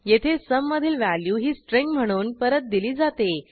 येथ sum मधील value ही string म्हणून परत दिली जाते